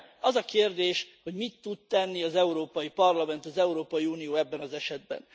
Az a kérdés, hogy mit tud tenni az Európai Parlament, az Európai Unió ebben az esetben?